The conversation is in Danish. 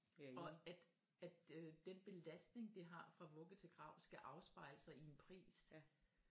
Og at øh den belastning det har fra vugge til grav skal afspejle sig i en pris